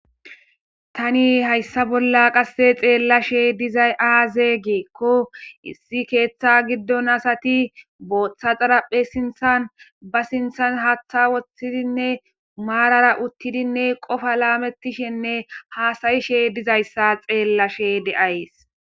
Tani hayssa bolla qasse xeellashe dizay aazee geekko issi keeththa giddon asati booththa xaraphe sinthan ba sinthan haaththa woththidinne maarara uttidinne qofa laamettishenne haasayishe dizayssa xeellashe de'ays.